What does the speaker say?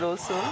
Xeyir olsun.